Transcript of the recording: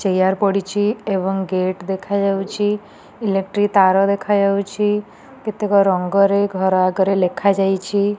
Chair ପଡ଼ିଛି ଏବଂ gate ଦେଖା ଯାଉଛି ଇଲେକ୍ଟ୍ରିକ ତାର ଦେଖା ଯାଉଛି କେତେକ ରଙ୍ଗ ରେ ଘର ଆଗରେ ଲେଖା ଯାଇଛି।